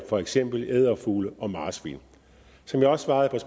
for eksempel edderfugle og marsvin som jeg også svarede